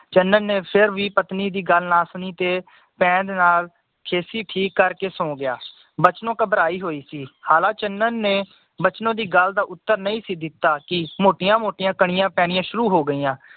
ਚੰਨਨ ਨੇ ਫਿਰ ਵੀ ਪਤਨੀ ਦੀ ਗੱਲ ਨਾ ਸੁਣੀ ਤੇ ਪੈਰ ਨਾਲ ਖੇਸੀ ਠੀਕ ਕਰਕੇ ਤੇ ਸੋਗਯਾ ਬਚਨੋ ਘਬਰਾਈ ਹੋਈ ਸੀ ਹਾਲਾਂ ਚੰਨਨ ਨੇ ਬਚਨੋ ਦੀ ਗੱਲ ਦਾ ਉੱਤਰ ਨਈ ਸੀ ਦਿੱਤਾ ਕਿ ਮੋਟੀਆਂ ਮੋਟੀਆਂ ਕਣੀਆਂ ਪੈਣੀਆਂ ਸ਼ੁਰੂ ਹੋ ਗਈਆਂ